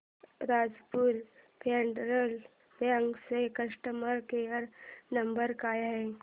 Rajapur federal bank चा customer care number काय आहे